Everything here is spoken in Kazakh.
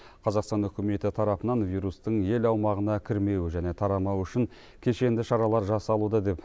қазақстан үкіметі тарапынан вирустың ел аумағына кірмеуі және тарамауы үшін кешенді шаралар жасалуда деп